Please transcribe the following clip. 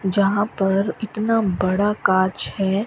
जहां पर इतना बड़ा कांच हैं।